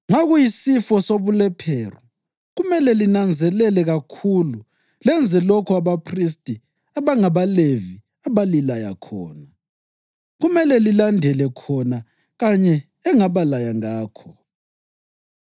Nxa kuyisifo sobulephero kumele linanzelele kakhulu lenze lokho abaphristi abangabaLevi abalilaya khona. Kumele lilandele khona kanye engabalaya ngakho.